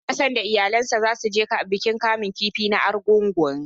Hassan da iyalansa zasu je bikin kamun kifi na Argungu.